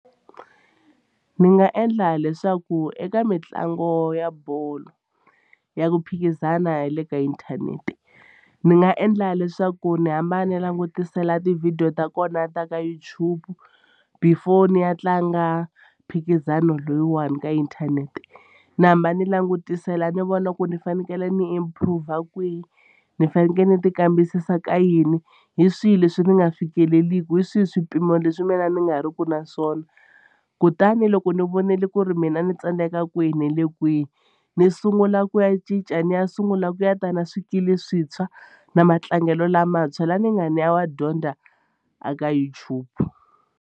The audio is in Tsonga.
Ni nga endla leswaku eka mitlangu ya bolo ya ku phikizana ya le ka inthanete ni nga endla leswaku ndzi hamba ndzi langutisela ti-video ta kona ta ka YouTube before ni ya tlanga mphikizano loyiwani ka inthanete. Ni hamba ni langutisela ni vona ku ni fanekele ni improv-a kwihi ni fanekele ni tikambisisa ka yini hi swihi leswi ni nga fikeleliki hi swihi swipimo leswi mina ni nga riki na swona kutani loko ni vonile ku ri mina ni tsandeka kwihi ni le kwihi ni sungula ku ya cinca ni ya sungula ku ya ta na swikili swintshwa na matlangelo lamantshwa laha ni nga ni ya wa dyondza a ka YouTube.